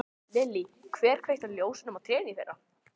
Lillý: Hver kveikti á ljósunum á trénu í fyrra?